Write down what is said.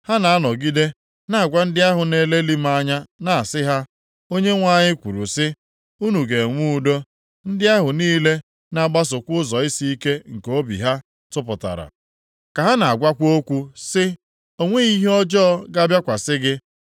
Ha na-anọgide na-agwa ndị ahụ na-elelị m anya na-asị ha, ‘ Onyenwe anyị kwuru sị, unu ga-enwe udo.’ Ndị ahụ niile na-agbasokwa ụzọ isiike nke obi ha tụpụtara, ka ha na-agwakwa okwu sị, ‘O nweghị ihe ọjọọ ga-abịakwasị gị.’